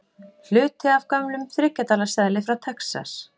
Hluti af gömlum þriggja dala seðli frá Texas.